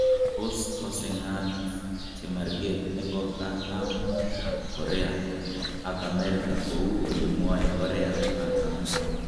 tos kocncengat chemarket nebo kaatarm ab korea ak america kou ole mwae korea kaartam